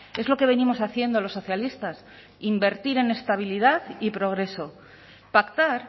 es lo que venimos haciendo los socialistas invertir en estabilidad y progreso pactar